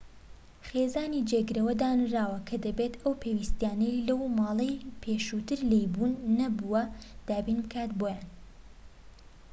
خێزانی جێگرەوە دانراوە کە دەبێت ئەو پێویستیانەی لەو ماڵەی پێشووتر لێی بوون نەبووە دابین بکات بۆیان